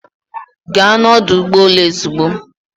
Gaa n'ọdụ ụgbọ elu ozugbo.